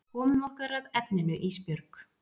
Komum okkur að efninu Ísbjörg.